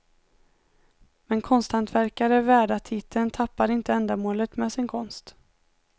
Men konsthantverkare värda titeln tappar inte ändamålet med sin konst.